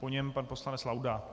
Po něm pan poslanec Laudát.